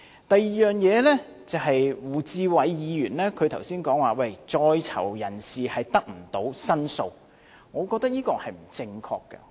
第二，胡志偉議員剛才說，在囚人士得不到申訴，我覺得是不正確的。